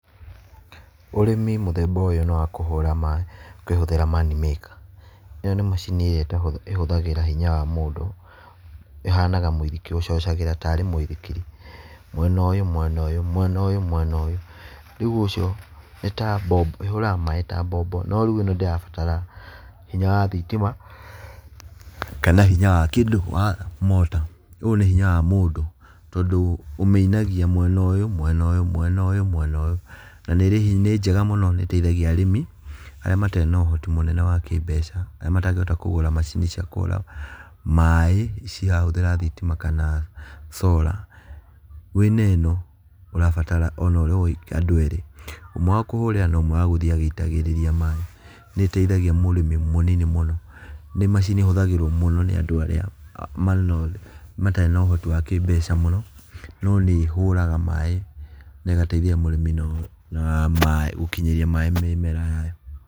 Ũrĩmi mũthemba ũyũ nĩ wa kũhũra maĩ ũkĩhũthĩra manmaker. ĩno nĩ macini ĩrĩa ĩhũthagĩra hinya wa mũndũ, ĩhanaga mũithikiri, ũcocagĩra tarĩ mũithikiri, mwena ũyũ mwena ũyũ mwena ũyũ mwena ũyũ, rĩũ ũcio, ĩhũraga maĩ ta mbombo no rĩu ĩno ndĩrabatara hinya wa thitima kana hinya wa kĩndũ wa mortar, ũyũ nĩ hinya wa mũndũ tondũ ũmĩinagia mwena ũyũ mwena ũyũ mwena ũyũ. Na nĩ njega mũno nĩ ĩteithagia arĩmi arĩa matarĩ na ũhoti mũnene wa kĩmbeca arĩa matangĩhota kũgũra macini cia kũhũra maĩ cirahũthĩra thitima kana Solar. Wĩna ĩno, ũrabatara andũ erĩ, ũmwe wa kũhũrĩra na ũmwe wa gũthiĩ agĩitagĩrĩria maĩ. Nĩ ĩteithagia mũrĩmi mũnini mũno, nĩ macini ĩhũthagĩrwo mũno nĩ andũ arĩa matarĩ na ũhoti wa kĩmbeca mũno, no nĩ ĩhũraga maĩ na ĩgateithia mũrĩmi na gũkinyĩria maĩ mĩmera.